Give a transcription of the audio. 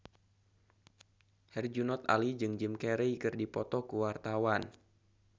Herjunot Ali jeung Jim Carey keur dipoto ku wartawan